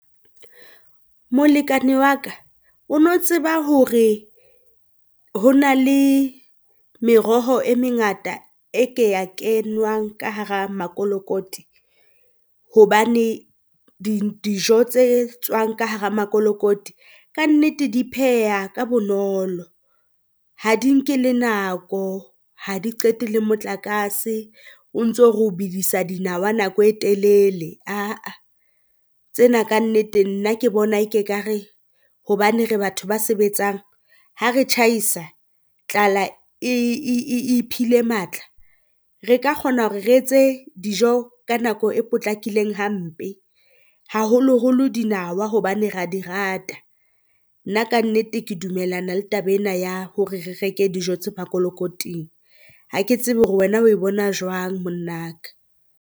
Molekane wa ka o no tseba hore ho na le meroho e mengata e ke ya kenwang ka hara makolokoti? Hobane dijo tse tswang ka hara makolokoti kannete di pheheha ka bonolo, ha di nke le nako. Ha di qete le motlakase o ntso re o bedisa dinawa nako e telele. Ah-ah tsena kannete nna ke bona e ke ka re hobane re batho ba sebetsang ha re tjhaisa tlala e iphile matla, re ka kgona hore re etse dijo ka nako e potlakileng hampe, haholoholo dinawa, hobane ra di rata. Nna kannete ke dumellana le taba ena ya hore re reke dijo tse makolokoting, ha ke tsebe hore wena o e bona jwang monna ka.